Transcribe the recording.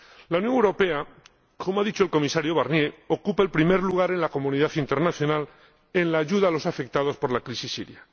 La Unión Europea, como ha dicho el Comisario Barnier, ocupa el primer lugar en la comunidad internacional en la ayuda a los afectados por la crisis siria.